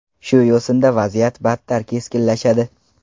Shu yo‘sinda vaziyat battar keskinlashadi.